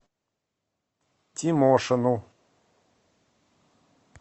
тимошину